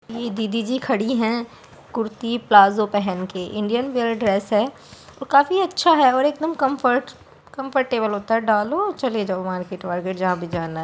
ये दीदी जी खड़ी हैं कुर्ती प्लाज़ो पहन के इंडियन वियर ड्रेस है और काफ़ी अच्छा है और एकदम कम्फर्ट कम्फर्टेबले होता है डालो और चले जाओ मार्केट वार्केट जहाँ भी जाना है।